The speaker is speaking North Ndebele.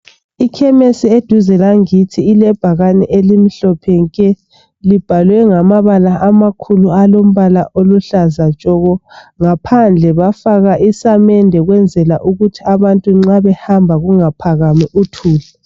Ikhemesi eduze langithi ilebhakane elimhlophe nke libhalwe ngamabala amakhulu alombala oluhlaza tshoko ngaphandle bafaka isamende ukwenzela ukuthi abantu nxa behamba kungaphakami uthuli.